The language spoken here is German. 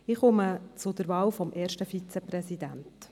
Ich komme zur Wahl des ersten Vizepräsidenten.